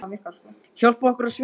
Hún byltir sér á hina hliðina.